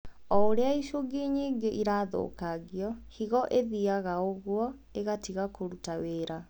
O ũrĩa icungi nyingĩ irathũkangio, higo ĩthiaga ũguo ĩgatiga kũruta wĩra